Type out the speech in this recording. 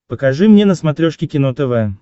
покажи мне на смотрешке кино тв